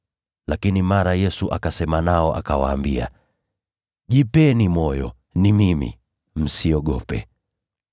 Lakini mara Yesu akasema nao, akawaambia, “Jipeni moyo! Ni mimi. Msiogope.”